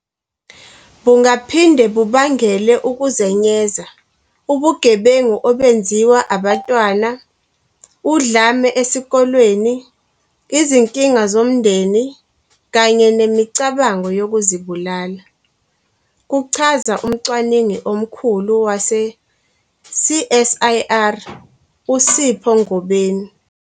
"Bungaphinde bubangele ukuzenyeza, ubugebengu obenziwa abantwana, udlame esikolweni, izinkinga zomndeni kanye nemicabango yokuzibulala," kuchaza umcwaningi omkhulu wase-CSIR uSipho Ngobeni.